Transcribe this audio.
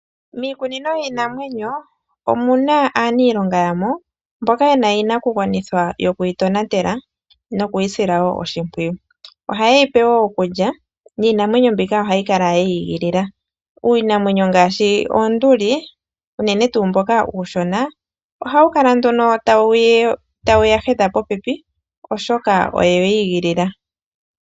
Miikunino yiinamwenyo omuna aaniilonga yamo mboka yena iinakugwanithwa yokuyi tonatela nokuyi sila wo oshimpwiyu, oha ye yipe wo okulya niinamwenyo mbika ohayi kala ye yi igilila, iinamwenyo ngaashi oonduli unene tuu mbu uushona oha wukala tawu ya hedha popepi oshoka owe yi igilila.